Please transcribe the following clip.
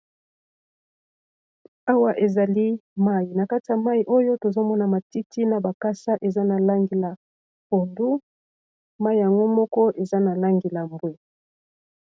awa ezali mai na kati ya mai oyo tozomona matiti na bakasa eza na langi la podu mai yango moko eza na langila mbwe